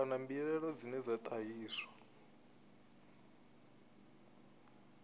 kana mbilaelo dzine dza ṱahiswa